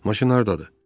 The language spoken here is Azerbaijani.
Maşın hardadır?